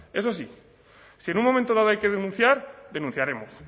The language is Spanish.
eso sí si en un momento dado hay que denunciar denunciaremos